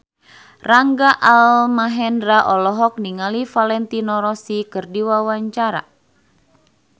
Rangga Almahendra olohok ningali Valentino Rossi keur diwawancara